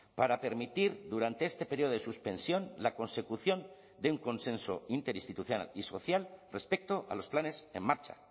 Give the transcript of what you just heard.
para permitir durante este periodo de suspensión la consecución de un consenso interinstitucional y social respecto a los planes en marcha